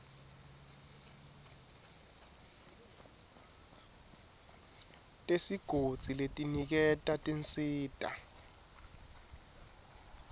tesigodzi letiniketa tinsita